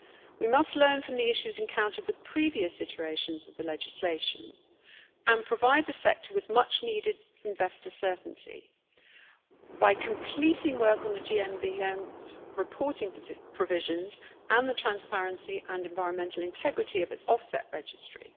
We must learn from the issues encountered with previous iterations of the legislation and provide the sector with much needed investor certainty by completing work on the GMBM's reporting provisions and the transparency and environmental integrity of its offset registry.